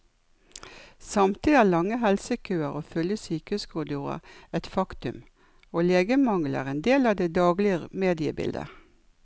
Samtidig er lange helsekøer og fulle sykehuskorridorer et faktum, og legemangelen er en del av det daglige mediebildet.